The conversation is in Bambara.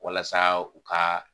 Walasa u ka